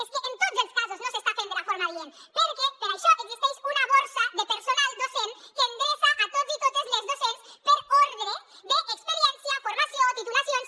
és que en tots els casos no s’està fent de la forma adient perquè per això existeix una borsa de personal docent que endreça tots i totes les docents per ordre d’experiència formació titulacions